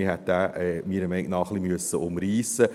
Man hätte diesen meiner Meinung nach etwas umreissen sollen.